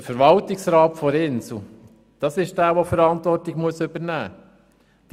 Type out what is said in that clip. Der Verwaltungsrat der Insel Gruppe AG ist derjenige, der die Verantwortung übernehmen muss.